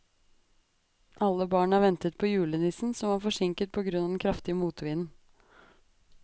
Alle barna ventet på julenissen, som var forsinket på grunn av den kraftige motvinden.